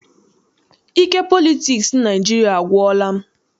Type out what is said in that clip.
Ike politiks Naịjiria agwụla m.